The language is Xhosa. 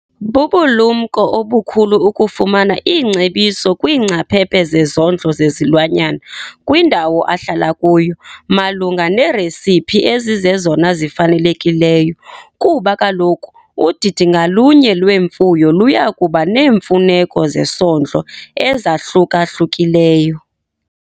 Bubulumko obukhulu ukufumana iingcebiso kwiingcaphephe zezondlo zezilwanyana kwindawo ahlala kuyo malunga neeresiphi ezizezona zifanelekileyo kuba kaloku udidi ngalunye lwemfuyo luya kuba neemfuneko zesondlo ezahluka-hlukileyo.